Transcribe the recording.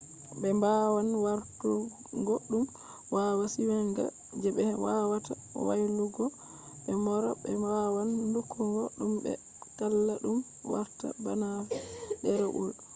ɓe wawan warturgo ɗum waya sewinga je be wawata waylutuggo ɓe mora. ɓe wawan lukkugo ɗum be talla ɗum warta bana ɗerewol